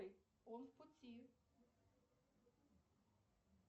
он в пути